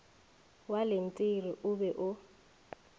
wa lentiri o be o